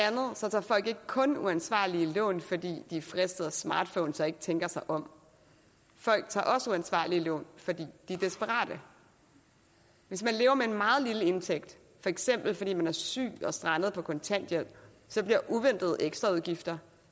tager folk ikke kun uansvarlige lån fordi de er fristet af smartphones og ikke tænker sig om folk tager også uansvarlige lån fordi de er desperate hvis man lever med en meget lille indtægt for eksempel fordi man er syg og strandet på kontanthjælp bliver uventede ekstraudgifter